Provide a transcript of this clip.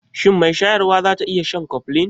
Shin mai shayarwa za ta iya shan Koflin?